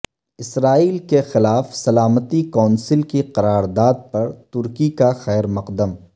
اسرائیل کے خلاف سلامتی کونسل کی قرار داد پر ترکی کا خیر مقدم